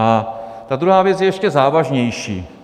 A ta druhá věc je ještě závažnější.